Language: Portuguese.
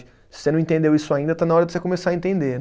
Se você não entendeu isso ainda, está na hora de você começar a entender.